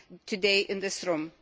today in this room.